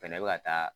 Fɛnɛ bɛ ka taa